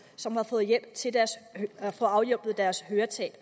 som har fået hjælp til at få afhjulpet deres høretab